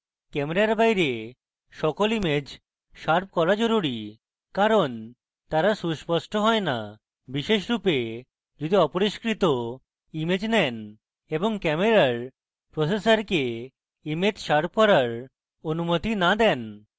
camera বাইরের সকল image sharp করা জরুরী কারণ তারা সুস্পষ্ট হয় না বিশেষরূপে যদি অপরিস্কৃত image নেন এবং camera প্রসেসরকে image শার্প করার অনুমতি না দেন